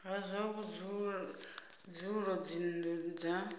ha zwa vhudzulo dzinnu dza